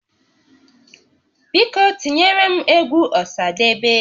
Biko tinyere m egwu Ọsadebe